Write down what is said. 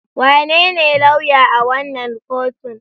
Wanene lauya a wannan kotun?